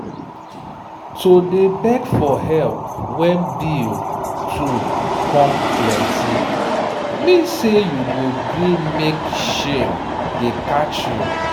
to dey beg for help when bill too come plenty mean say you go gree mek shame dey catch you.